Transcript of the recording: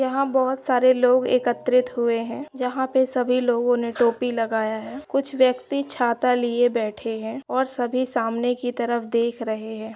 यहां बहुत सारे लोग एकत्रित हुए हैं जहां पे सभी लोगों ने टोपी लगाया है कुछ व्यक्ति छाता लिए बैठे हैं और सभी सामने की तरफ देख रहे हैं।